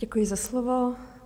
Děkuji za slovo.